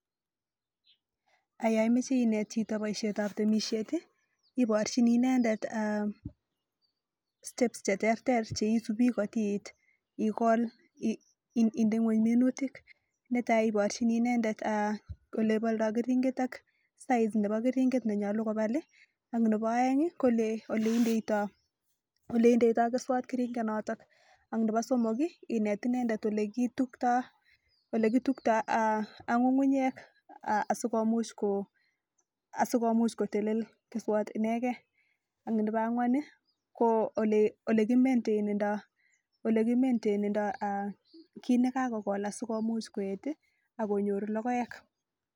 Yaimechei inet chito akono temishet ii ibarchinii inendet (steps) cheterter kotiit indee ngony minutik keringet nenyaluu kobal olekindotyoo keswek